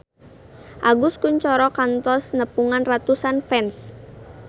Agus Kuncoro kantos nepungan ratusan fans